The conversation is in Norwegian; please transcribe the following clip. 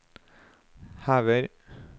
hever